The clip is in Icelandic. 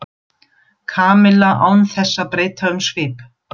Kamilla án þess að breyta um svip.